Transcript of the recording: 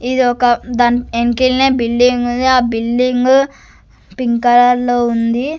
ఇదొక దాని యెనకల్నే బిల్డింగ్ ఉంది ఆ బిల్డింగ్ పింక్ కలర్లో ఉంది.